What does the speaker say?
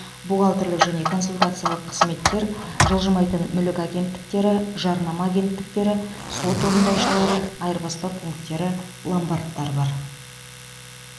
бухгалтерлік және консультациялық қызметтер жылжымайтын мүлік агенттіктері жарнама агенттіктері сот орындаушылары айырбастау пункттері ломбардтар бар